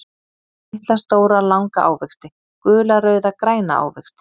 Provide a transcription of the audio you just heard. Litla, stóra, langa ávexti Gula, rauða, græna ávexti.